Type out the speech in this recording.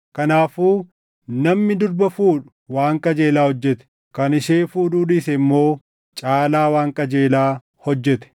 Kanaafuu namni durba fuudhu waan qajeelaa hojjete; kan ishee fuudhuu dhiise immoo caalaa waan qajeelaa hojjete.